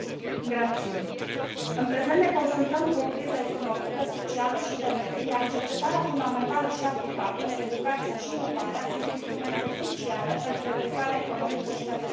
În prezent ne confruntăm cu o criză economică, socială și de mediu, iar cercetarea fundamentală și aplicată, educația și inovarea sunt instrumente cruciale pentru redresarea economică și pentru crearea de locuri de muncă.